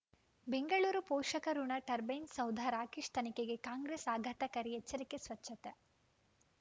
ಬೆಂಗಳೂರು ಪೋಷಕಋಣ ಟರ್ಬೈನು ಸೌಧ ರಾಕೇಶ್ ತನಿಖೆಗೆ ಕಾಂಗ್ರೆಸ್ ಆಘಾತಕಾರಿ ಎಚ್ಚರಿಕೆ ಸ್ವಚ್ಛತೆ